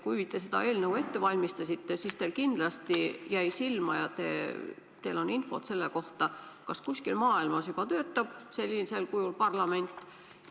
Kui te seda eelnõu ette valmistasite, siis teile kindlasti jäi silma ja teil on infot selle kohta, kas kuskil maailmas juba töötab sellisel kujul parlament.